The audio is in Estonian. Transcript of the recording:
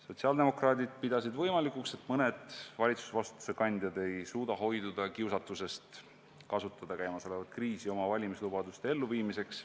Sotsiaaldemokraadid pidasid võimalikuks, et mõned valitsusvastutuse kandjad ei suuda hoiduda kiusatusest kasutada tekkinud kriisi oma valimislubaduste elluviimiseks.